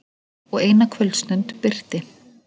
Og eina kvöldstund birti.